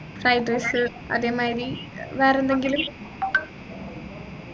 fried rice അതെ മാതിരി വേറെന്തെങ്കിലും